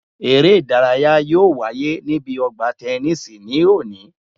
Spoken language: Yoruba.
Eré ìdárayá yóò wáyé níbi ọgbà tẹnísì ní òní